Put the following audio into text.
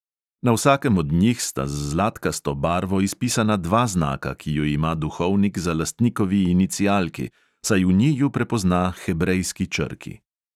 Na vsakem od njih sta z zlatkasto barvo izpisana dva znaka, ki ju ima duhovnik za lastnikovi inicialki, saj v njiju prepozna hebrejski črki.